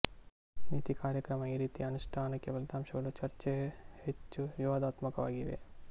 ನೀತಿ ಕಾರ್ಯಕ್ರಮ ಈ ರೀತಿಯ ಅನುಷ್ಠಾನಕ್ಕೆ ಫಲಿತಾಂಶಗಳು ಚರ್ಚೆ ಹೆಚ್ಚು ವಿವಾದಾತ್ಮಕವಾಗಿವೆ